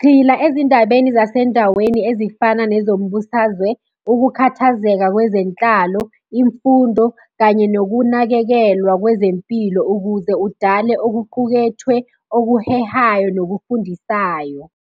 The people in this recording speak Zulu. Gxila ezindabeni zasendaweni ezifana nezombusazwe, ukukhathazeka kwezenhlalo, imfundo kanye nokunakekelwa kwezempilo ukuze udale okuqukethwe, okuhehayo, nokufundisayo.